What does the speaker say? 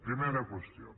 primera qüestió